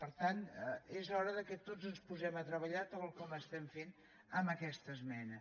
per tant és hora que tots ens posem a treballar tal com estem fent amb aquesta esmena